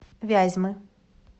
вязьмы